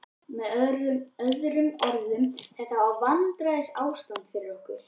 Með öðrum orðum: þetta er vandræðaástand fyrir okkur.